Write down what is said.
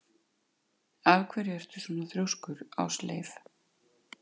Af hverju ertu svona þrjóskur, Ásleif?